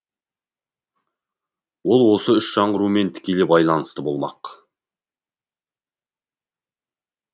ол осы үш жаңғырумен тікелей байланысты болмақ